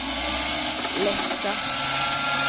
läska